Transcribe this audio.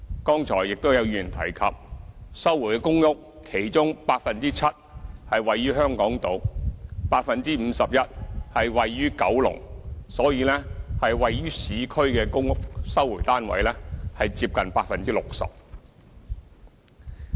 剛才亦都有議員提及，在收回的公屋之中，其中 7% 是位於香港島 ，51% 位於九龍，所以位於市區的公屋收回單位是接近 60%。